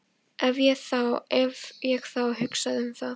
Ef ég þá hugsaði um það.